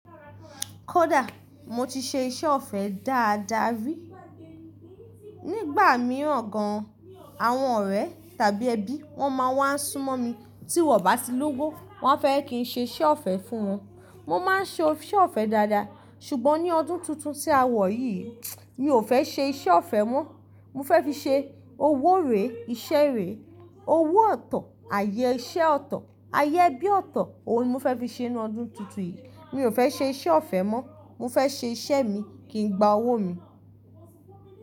Kódà mo ti ṣe iṣẹ́ ọ̀fẹ́ dáadáa rí. Nígbà mìíràn gan, àwọn ọ̀rẹ́ tàbí ẹbí wọ́n máa ń wá súnmọ́ mi tí wọ́n bá ti lówó, wọ́n áfẹ́ kí n ṣe iṣẹ́ ọ̀fẹ́ fún wọn. Mo máa ń ṣe iṣẹ́ ọ̀fẹ́ dáadáa ṣùgbọ́n ní ọdún tuntun tí a wọ̀ yìí, mi ò fẹ́ ṣe iṣẹ́ ọ̀fẹ́ mọ́. Mo fẹ́ fi ṣe owó rè, iṣẹ́ rè, owó ọ̀tọ̀, àyè iṣẹ́ ọ̀tọ̀, àyè ẹbí ọ̀tọ̀. Ohun ni mo fẹ́ fi ṣe ní ọdún tuntun yìí. Mi ò fẹ́ ṣe iṣẹ́ ọ̀fẹ́ mọ́. Mo fẹ́ ṣe iṣẹ́ mi kí n gba owó mi.